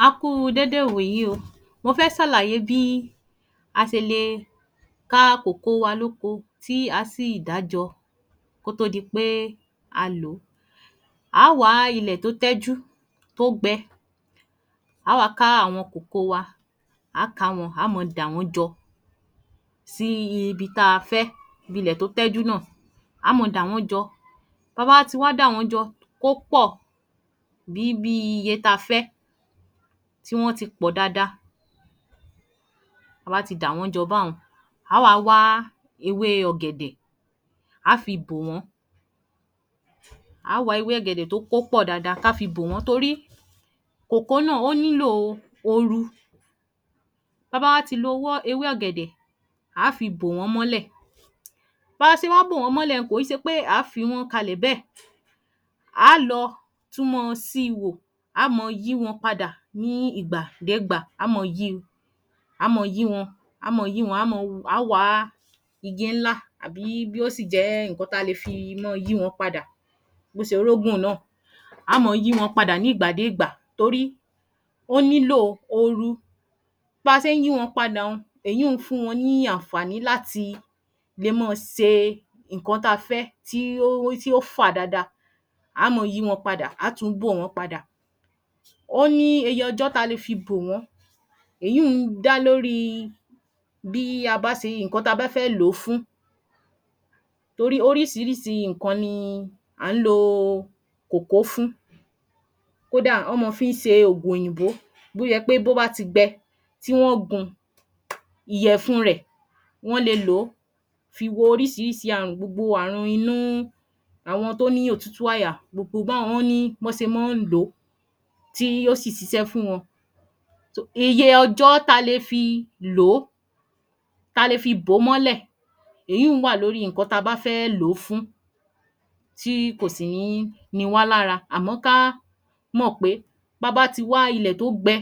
A Kú u dédé ìwòyí o, mo fẹ́ sàlàyé bí a sele ká kòkó wá lóko tí a sì dá a jọ kó tó dipé à ló. á à wá ilé tó tẹ́jú tó gbẹ a wá ká àwọn kòkó wa, a ká àwọn á mọ dàwón jọ sí ibi ta fẹ́ ibi ilè tó tẹ́jú náà á mọ wọn jọ Bá bá tí wá dàwón jọ kó pọ̀ bí bí iye ta fẹ́ tí wọn ti pọ̀ dáadáa ta bá ti dàwón jọ bá n, á à wa wá ewé ògèdè a á fí bò wọn a wá ewé ògèdè tó kò pò dáadáa ká fi bò wọn torí kòkó náà o nilò oru Bá bá wá ti lo wọ ewé ògèdè á fi bò wọn mọ́lẹ̀ Bá a ṣe wá bò wọn mọ́lẹ́ n kò n ṣe pé a á fí wọn kalẹ̀ bẹ a á lọ túmọ ṣi wo, á mọ yí wọn padà ní ígbà degbá á mọ yí á mọ yí wọn, á mọ yí wọn, á mọ A wá igi nlá àbí yoo sì jẹ́ e ǹkan ta le fi mọ yí wọn padà bó ṣe orógùn náà, á mọ yí wọn padà ní ìgbà dégbáa torí o nilò oru. Bá ṣe ń yí wọn padà n, èyun n fún wọn ní ànfàaní láti le mọ ṣe ǹkan ta fẹ́ tí o wò tí ọ fà dáadáa á mọ yí wọn padà a tùn bò wọn padà. Ó ní eye ọjọ́ tí a le fi bò wọn eyún n da lóri bí a bá ṣe ǹkan ta bá fẹ́ lo fún torí orísirísi ǹkan ni i a ń lo o kòkó fún kódà, ón mọ fu ń ṣe ògùn òyìnbó bó yẹ pé bó bá ti gbẹ tí wọn gun ìyẹ̀fun rẹ̀ wón le lò fi wo oríísiísi àrùn gbogbo àrùn inúu n àwọn tó ní òtútù àyà gbogbo gbọ́n-on ní bọ́ ṣe mọ́ n lo tí í yóò sì ṣiṣẹ́ fún wọn iye ọjọ́ ta le fi i lò ta le fi bò mọ́lẹ̀ eyún-un wà lóri ǹkan ta bá fẹ́ẹ lo fún tí í kò si nií ni wá lára à mọ́ káá mọ̀ pé ba bá ti wá ilẹ̀ tó gbẹ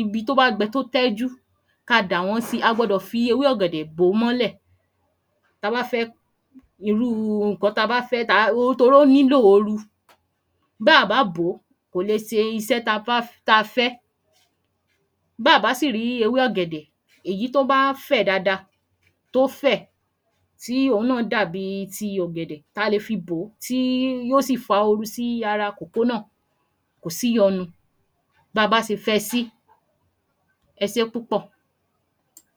ibi tó bá gbẹ tó tẹ́jú ka dàwón sí a gbọ dọ̀ fi ewé ògèdè bò mọ́lẹ̀ ta bá fẹ́ irúu o ǹnkan ta bá fẹ́ taa ó toró nilò oru Bàá bá bo kòle ṣe iṣẹ́ ta bá f ta fẹ́ ba ba sìrí ewé ògèdè èyí to báa fẹ̀ dáadáa tó fẹ̀ tí ò ń náà dàbii ti ògèdè ta le fí bò tíi yoó sì fa oru sí ara kòkó náà kó sí yọnu ba bá ṣe fẹ́ sí eṣé púpò